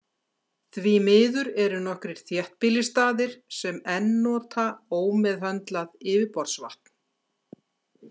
Því miður eru nokkrir þéttbýlisstaðir sem enn nota ómeðhöndlað yfirborðsvatn.